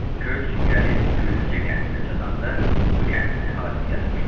Köç gəlib Güllücə kəndinə çatanda bu kəndin əhalisi yatmışdı.